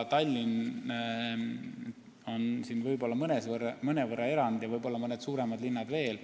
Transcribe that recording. Tallinn on siin mõnevõrra erand ja võib-olla mõned suuremad linnad veel.